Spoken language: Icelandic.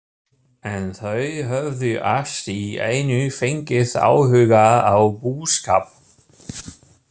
En þau höfðu allt í einu fengið áhuga á búskap.